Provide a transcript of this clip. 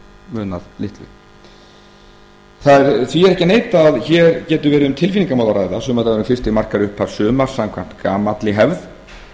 munað litlu því er ekki að neita að hér getur verið um tilfinningamál að ræða sumardagurinn fyrsti markar upphaf sumars samkvæmt gamalli hefð